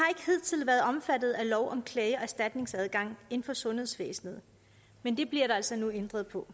hidtil været omfattet af lov om klage og erstatningsadgang inden for sundhedsvæsenet men det bliver der altså nu ændret på